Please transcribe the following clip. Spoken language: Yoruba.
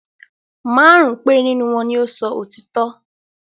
Márùn-ún péré nínú wọn ni ó ń sọ òtítọ́.